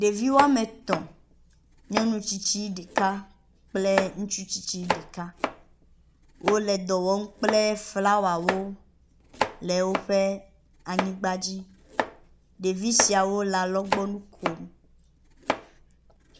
Ɖevi wɔme etɔ̃ kple nyɔnu tsitsi ɖeka ŋutsu tsitsi ɖeka wo le dɔ wɔm kple flawawo le woƒe anyigba dzi. Ɖevi siawo le alɔgbɔnu kom.